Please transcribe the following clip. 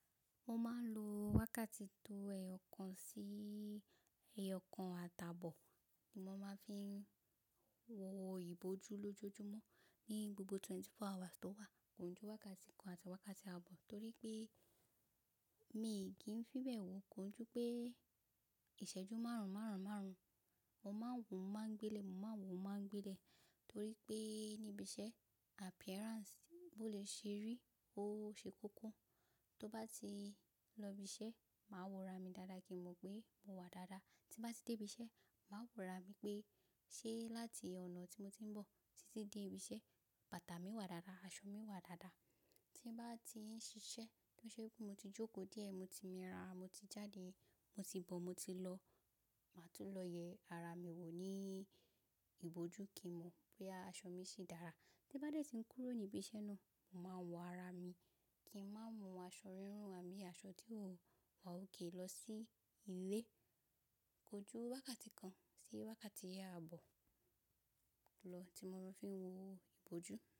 Mo máa ń lo wákàtí tó ẹyọ kan sí ẹyọ kan àtààbọ̀, tí mo máa ń fi wo ìbòjú lójoojúmọ́ ní gbogbo twenty four hours tó wà. Kó n jú wákàtí kan àti wákàtí ààbọ̀ torí pé mi ò kí ń fi bẹ̀ wò kó n jú pé ìṣẹ́jú márùn-ún, márùn-ún, márùn-ún mo máa ń wò, mo máa ń gbé lẹ̀, mo máa ń wò, mo máa ń gbé lẹ̀ torí pé níbi iṣẹ́ appearance bó le ṣe rí ó ṣe kókó. Tó bá ti lọ ibi iṣẹ́, màá wọra mi dáadáa kí n mọ̀ pé mo wà dáadáa. Tí bá ti dé ibi iṣẹ́, màá wọra mi pé ṣe láti ọ̀nà tí mo ti ń bọ̀ títí dé ibi iṣẹ́, bàtà mi wà dáadáa, aṣọ mi wà dáadáa. Tí bá ti ń ṣiṣẹ́, tó ṣe pé mo ti jókòó díẹ̀, mo ti mi ara, mo ti jáde, mo ti bọ̀, mo ti lọ, màá tún lọ yẹ ara mi wò ní ìbòjú kí n mọ̀ bóyá aṣọ mi ṣì dára. Tí bá dé tí ń kúrò ní ibi iṣẹ́ náà, màá wọ ara mi kí n má mu aṣọ rírún àbí aṣọ tí ò wà ókè lọ sí ilé. Kójú wákàtí kan sí wákàtí àbọ̀ lọ tí mo ń fi wo ìbòjú.